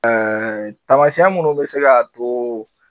tamasiyɛn minnu bi se k'a to